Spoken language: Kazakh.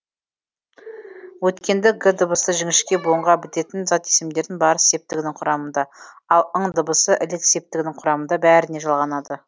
өйткенді г дыбысы жіңішке буынға бітетін зат есімдердің барыс септігінің құрамында ал ң дыбысы ілік септігінің құрамында бәріне жалғанады